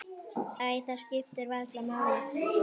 Æ, það skiptir varla máli.